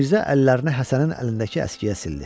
Mirzə əllərini Həsənin əlindəki əskiyə sildi.